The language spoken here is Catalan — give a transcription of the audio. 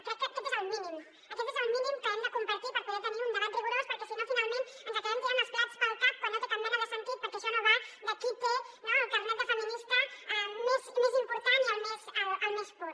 crec que aquest és el mínim aquest és el mínim que hem de compartir per poder tenir un debat rigorós perquè si no finalment ens acabem tirant els plats pel cap quan no té cap mena de sentit perquè això no va de qui té el carnet de feminista més important i el més pur